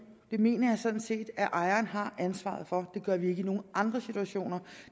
det mener jeg sådan set at ejerne har ansvaret for det gør vi ikke i nogen andre situationer